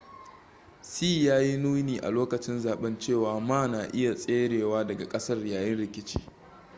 hsieh ya yi nuni a lokacin zaben cewa ma na iya tserewa daga kasar yayin rikici